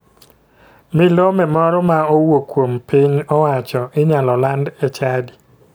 Milome moro ma owuok kuom piny owacho inyalo land e chadi